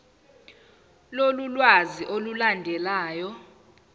lolu lwazi olulandelayo